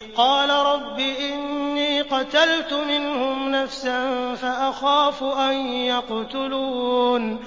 قَالَ رَبِّ إِنِّي قَتَلْتُ مِنْهُمْ نَفْسًا فَأَخَافُ أَن يَقْتُلُونِ